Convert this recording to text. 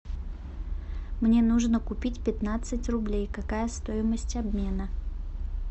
мне нужно купить пятнадцать рублей какая стоимость обмена